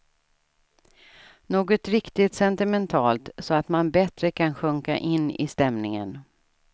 Något riktigt sentimentalt så att man bättre kan sjunka in i stämningen.